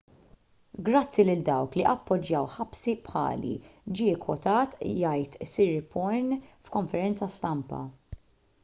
grazzi lil dawk li appoġġjaw ħabsi bħali ġie kkwotat jgħid siriporn f'konferenza stampa